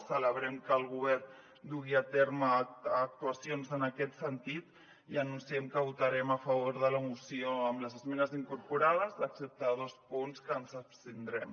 celebrem que el govern dugui a terme actuacions en aquest sentit i anunciem que votarem a favor de la moció amb les esmenes incorporades excepte dos punts que ens hi abstindrem